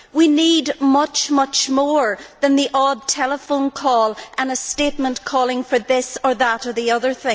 We need much, much more than the odd telephone call and a statement calling for this, that or the other